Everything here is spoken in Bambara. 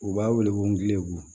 U b'a wele ko ngilibu